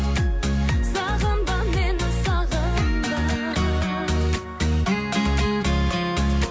сағынба мені сағынба